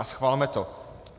A schvalme to.